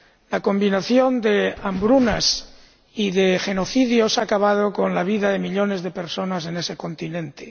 La combinación de hambrunas y de genocidios ha acabado con la vida de millones de personas en ese continente.